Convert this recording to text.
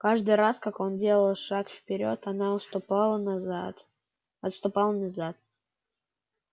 каждый раз как он делал шаг вперёд она уступала назад отступала назад